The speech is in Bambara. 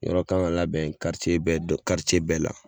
Yɔrɔ kan ga labɛn karice bɛɛ dɔ karice bɛɛ la